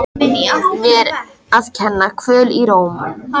Mér að kenna- Kvöl í rómnum.